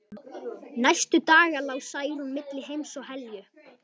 Næstu daga lá Særún milli heims og helju.